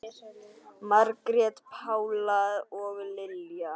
Margrét Pála og Lilja.